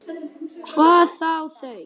Hvað þá þau.